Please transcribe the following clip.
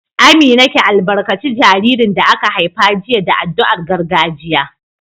Amina, ki albarkaci jaririn da aka haifa jiya da addu'ar gargajiya